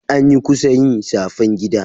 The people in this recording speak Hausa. Anyi kusa yi shafen gida.